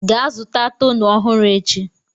gaa zụta toner ọhụrụ echi!